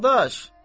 Dadaş.